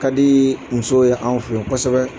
Ka di musow ye anw fɛ ye kosɛbɛ.